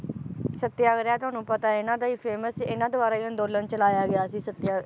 ਸਤਿਆਗ੍ਰਹਿ ਤੁਹਾਨੂੰ ਪਤਾ ਹੈ ਇਹਨਾਂ ਦਾ ਹੀ famous ਇਹਨਾਂ ਦਵਾਰਾ ਈ ਅੰਦੋਲਨ ਚਲਾਇਆ ਗਿਆ ਸੀ ਸਤਿਆ~